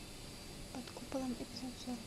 под куполом эпизод сорок